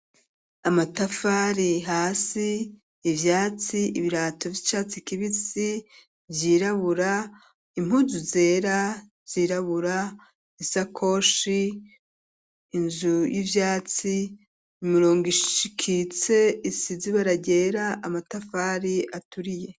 amatafari hasi ivyatsi ibirato vy'icatsi kibisi vyirabura impuzu zera yirabura isakoshi inzu y'ibyatsi imirongo iikitse isizibara ryera amatafari aturiye.